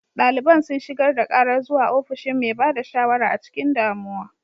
Daliban sun shigar da karar zuwa ofishin mai ba da shawara a cikin damuwa.